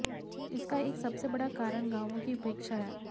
इसका एक सबसे बड़ा कारण गांवों की उपेक्षा है